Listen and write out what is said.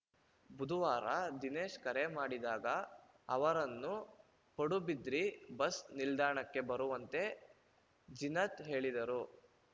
ಬುಧವಾರ ದಿನೇಶ್‌ ಕರೆ ಮಾಡಿದಾಗ ಅವರನ್ನು ಪಡುಬಿದ್ರಿ ಬಸ್‌ ನಿಲ್ದಾಣಕ್ಕೆ ಬರುವಂತೆ ಜೀನತ್‌ ಹೇಳಿದರು